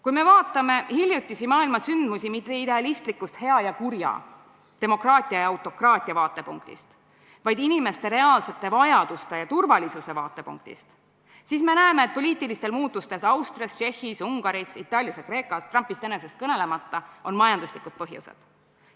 Kui vaatame maailmas hiljuti toimunud sündmusi mitte idealistlikust hea ja kurja, demokraatia ja autokraatia vaatepunktist, vaid inimeste reaalsete vajaduste ja turvalisuse vaatepunktist, siis näeme, et poliitilistel muutustel Austrias, Tšehhis, Ungaris, Itaalias ja Kreekas, Trumpist enesest kõnelemata, on majanduslikud põhjused.